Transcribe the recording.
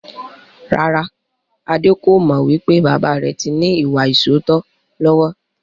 Rárá, Adé kò mọ wípé bàbà rẹ tí ní ìwà ìsootọ́ lọ́wọ́.